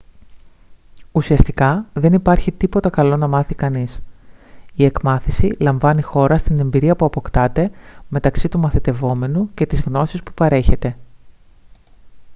ουσιαστικά δεν υπάρχει τίποτα καλό να μάθει κανείς η εκμάθηση λαμβάνει χώρα στην εμπειρία που αποκτάται μεταξύ του μαθητευόμενου και της γνώσης που παρέχεται